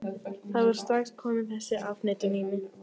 Það var strax komin þessi afneitun á mig.